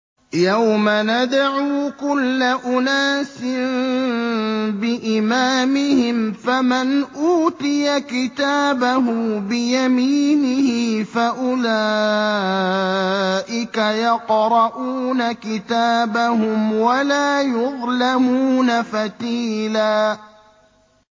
يَوْمَ نَدْعُو كُلَّ أُنَاسٍ بِإِمَامِهِمْ ۖ فَمَنْ أُوتِيَ كِتَابَهُ بِيَمِينِهِ فَأُولَٰئِكَ يَقْرَءُونَ كِتَابَهُمْ وَلَا يُظْلَمُونَ فَتِيلًا